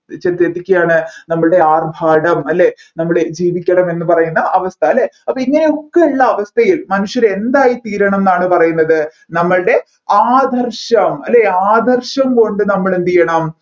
ചെന്നെത്തിക്കയാണ് നമ്മൾടെ ആർഭാടം അല്ലെ നമ്മൾടെ ജീവിക്കണം എന്ന് പറയുന്ന അവസ്ഥ അല്ലെ അപ്പൊ ഇങ്ങനെയൊക്കെ ഉള്ള അവസ്ഥയിൽ മനുഷ്യർ എന്തായി തീരണം എന്നാണ് പറയുന്നത് നമ്മൾടെ ആദർശം അല്ലെ ആദർശം കൊണ്ട് നമ്മൾ എന്ത് ചെയ്യണം